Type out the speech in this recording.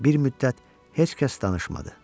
Bir müddət heç kəs danışmadı.